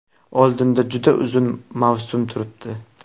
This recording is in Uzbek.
Oldinda juda uzun mavsum turibdi.